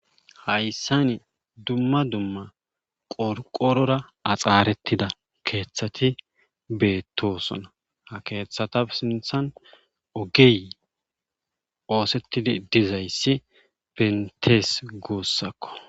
Hayssani dumma dumma qorqorora axaarettida keeththati beettosona ha keeththata sinthan ogey oosettidi dizayssi bentees guussakko.